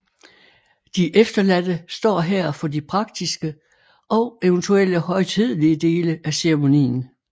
De efterladte står her for de praktiske og eventuelle højtidelige dele af ceremonien